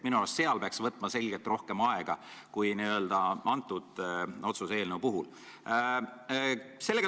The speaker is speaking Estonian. Minu arust peaks selle arutamiseks võtma märksa rohkem aega kui kõnealuse eelnõu puhul.